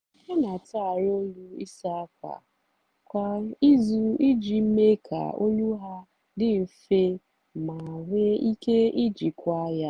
ha n'atụgharị ọlụ ịsa ákwà kwa izu iji mee ka ọlụ ahụ dị nfe ma nwe ike ijikwa ya.